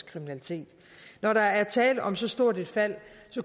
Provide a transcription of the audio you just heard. kriminalitet når der er tale om så stort et fald